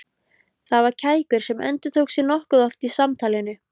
Það var kækur sem endurtók sig nokkuð oft í samtalinu.